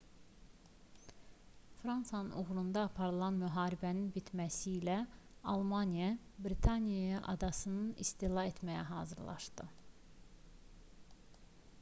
fransanın uğrunda aparılan müharibənin bitməsilə almaniya britaniya adasını istila etməyə hazırlaşdı